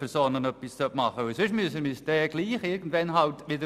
Der Deal wäre eben, auch etwas bei den natürlichen Personen zu tun.